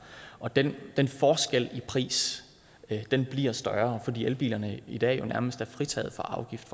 og den den forskel i pris bliver større fordi elbilerne i dag fortsat nærmest er fritaget for afgift